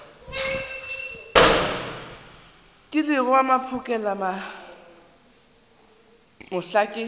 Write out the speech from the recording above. kilego wa mphokela mohla ke